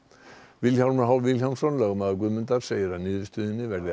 Vilhjálmur h Vilhjálmsson lögmaður Guðmundar segir að niðurstöðunni verði